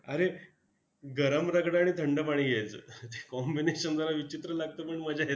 अरे गरम रगडा आणि थंड पाणी घ्यायचं. combination जरा विचित्र लागतं पण मजा येते!